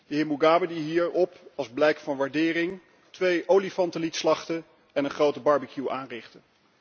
De heer Mugabe die hierna, als blijk van waardering, twee olifanten liet slachten en een grote barbecue aanrichtte.